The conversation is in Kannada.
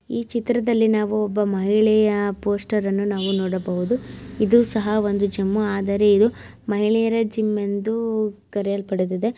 ಈ ಚಿತ್ರದಲ್ಲಿ ನಾವು ಒಬ್ಬ ಮಹಿಳೆಯ ಪೋಸ್ಟರ್ ಅನ್ನು ನಾವು ನೋಡಬಹುದು ಇದು ಸಹ ಒಂದು ಜಿಮ್ ಆದರೆ ಇದು ಮಹಿಳೆಯರ ಜಿಮ್ ಎಂದು ಕರಿಯಲ್ಪಡುತಿದೆ.